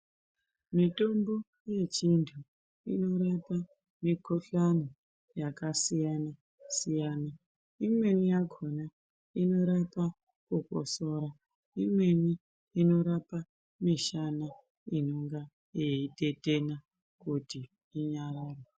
Mitombo yechindau inorape mikuhlani yakasiyana siyana imweni yakona inorape kukosora imweni inorape misana inonga yaitetena kuti inyarare.